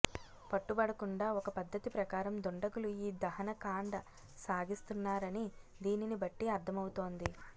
పట్టుబడ కుండా ఒక పద్ధతి ప్రకారం దుండగులు ఈ దహనకాండ సాగిస్తు న్నారని దీనినిబట్టి అర్థమవుతోంది